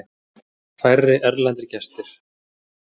Færri erlendir gestir